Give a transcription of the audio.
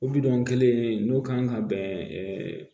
O kelen in n'o kan ka bɛn